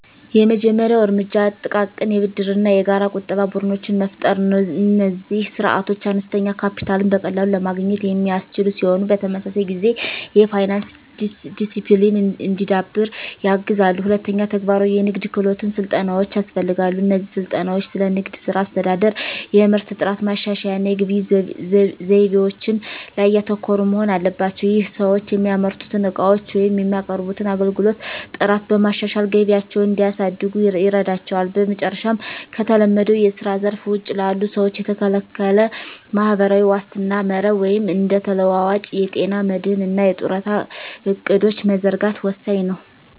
የመጀመሪያው እርምጃ ጥቃቅን የብድርና የጋራ ቁጠባ ቡድኖችን መፍጠር ነው። እነዚህ ስርዓቶች አነስተኛ ካፒታልን በቀላሉ ለማግኘት የሚያስችሉ ሲሆን፣ በተመሳሳይ ጊዜ የፋይናንስ ዲሲፕሊን እንዲዳብር ያግዛሉ። ሁለተኛ፣ ተግባራዊ የንግድ ክህሎት ስልጠናዎች ያስፈልጋሉ። እነዚህ ስልጠናዎች ስለ ንግድ ሥራ አስተዳደር፣ የምርት ጥራት ማሻሻያ እና የግብይት ዘይቤዎች ላይ ያተኮሩ መሆን አለባቸው። ይህም ሰዎች የሚያመርቱትን ዕቃዎች ወይም የሚያቀርቡትን አገልግሎት ጥራት በማሻሻል ገቢያቸውን እንዲያሳድጉ ይረዳቸዋል። በመጨረሻም፣ ከተለመደው የስራ ዘርፍ ውጪ ላሉ ሰዎች የተስተካከለ ማህበራዊ ዋስትና መረብ (እንደ ተለዋዋጭ የጤና መድህን እና የጡረታ ዕቅዶች) መዘርጋት ወሳኝ ነው።